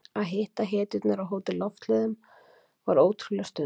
Að hitta hetjurnar á Hótel Loftleiðum var ótrúleg stund.